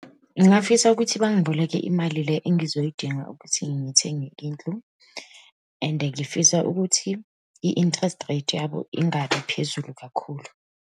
Ngingafisa ukuthi bangiboleke imali le engizoyidinga ukuthi ngithenge indlu and ngifisa ukuthi i-interest rate yabo ingabi phezulu kakhulu.